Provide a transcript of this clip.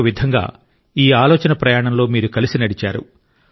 ఒక విధంగా ఈ ఆలోచన ప్రయాణంలో మీరు కలిసి నడిచారు